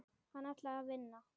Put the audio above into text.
Hann ætlaði að vinna.